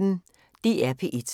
DR P1